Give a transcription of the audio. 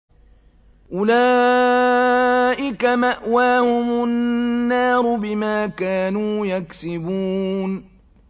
أُولَٰئِكَ مَأْوَاهُمُ النَّارُ بِمَا كَانُوا يَكْسِبُونَ